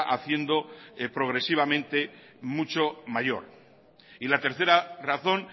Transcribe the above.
haciendo progresivamente mucho mayor y la tercera razón